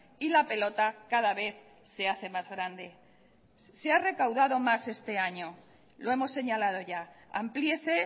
y la pelota cada vez se hace más grande se ha recaudado más este año lo hemos señalado ya amplíese